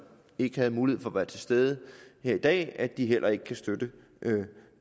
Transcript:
ikke havde mulighed for at være til stede her i dag at de heller ikke kan støtte